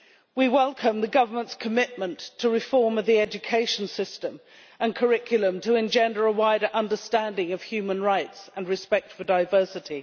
We welcome the government's commitment to reform the education system and curriculum to engender a wider understanding of human rights and respect for diversity.